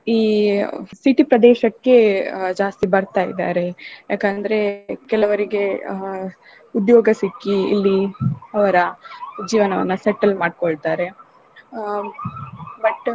ಈ city ಪ್ರದೇಶಕ್ಕೆ ಆ ಜಾಸ್ತಿ ಬರ್ತಾ ಇದ್ದಾರೆ ಯಾಕಂದ್ರೆ ಕೆಲವರಿಗೆ ಹಾ ಉದ್ಯೋಗ ಸಿಕ್ಕಿ ಇಲ್ಲಿ ಅವ್ರ ಜೀವನವನ್ನ settle ಮಾಡ್ಕೊಳ್ತಾರೆ ಆ but .